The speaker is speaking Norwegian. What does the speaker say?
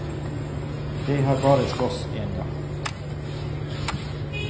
Jeg har bare slåss en gang.